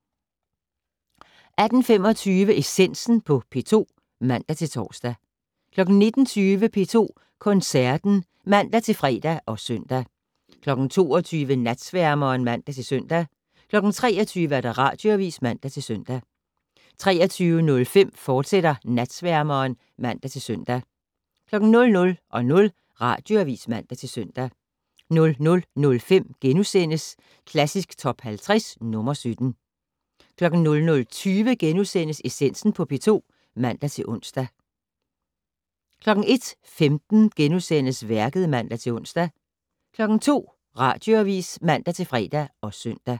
18:25: Essensen på P2 (man-tor) 19:20: P2 Koncerten (man-fre og søn) 22:00: Natsværmeren (man-søn) 23:00: Radioavis (man-søn) 23:05: Natsværmeren, fortsat (man-søn) 00:00: Radioavis (man-søn) 00:05: Klassisk Top 50 - nr. 17 * 00:20: Essensen på P2 *(man-ons) 01:15: Værket *(man-ons) 02:00: Radioavis (man-fre og søn)